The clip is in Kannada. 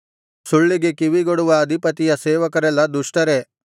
ಸುಳ್ಳಿಗೆ ಕಿವಿಗೊಡುವ ಅಧಿಪತಿಯ ಸೇವಕರೆಲ್ಲಾ ದುಷ್ಟರೇ